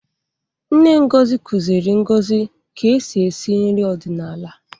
Nne Ngozi kụziiri Ngozi ka e si esi nri ọdịnala.